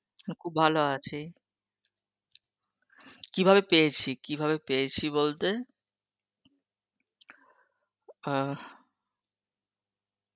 উম খুব ভালো আছি, কিভাবে পেয়েছি, কি ভাবে পেয়েছি বলতে, আহহঃ